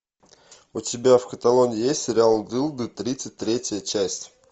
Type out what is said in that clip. у тебя в каталоге есть сериал дылды тридцать третья часть